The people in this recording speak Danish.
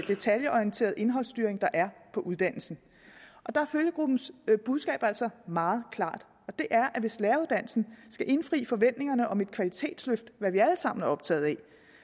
detaljeorienterede indholdsstyring der er på uddannelsen der er følgegruppens budskab altså meget klart hvis læreruddannelsen skal indfri forventningerne om et kvalitetsløft hvad vi alle sammen er optaget